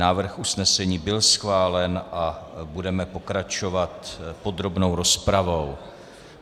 Návrh usnesení byl schválen a budeme pokračovat podrobnou rozpravou.